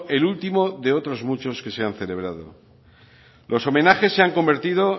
el último de otros muchos que se han celebrado los homenajes se han convertido